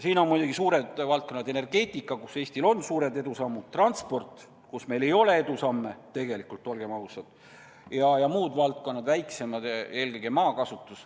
Siin on muidugi suured valdkonnad: energeetika, kus Eestil on suured edusammud, transport, kus meil edusamme tegelikult ei ole, olgem ausad, ja muud, väiksemad valdkonnad, eelkõige maakasutus.